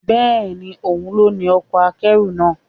Bẹ́ẹ̀ni, òun ló ní ọkọ̀ akẹ́rù náà.